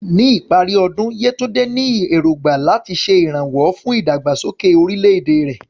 Ní ìparí ọdún, Yewande ní èrògbà láti ṣe ìrànwọ́ fún ìdàgbàsókè orílẹ̀-èdè rẹ̀.